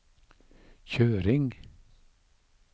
kjøring